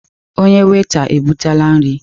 Onye weta ebutela nri.